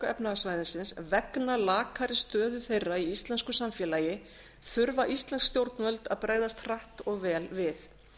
s vegna lakari stöðu þeirra í íslensku samfélagi þurfa íslensk stjórnvöld að bregðast hratt og vel við